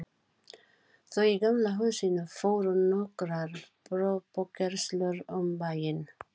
Þau í Gamla húsinu fóru nokkrar prufukeyrslur um bæinn.